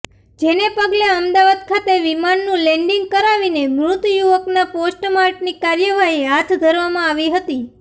જેને પગલે અમદાવાદ ખાતે વિમાનનું લેન્ડીંગ કરાવીને મૃત યુવકના પોસ્ટમાર્ટમની કાર્યવાહી હાથ ધરવામાં આવી હતી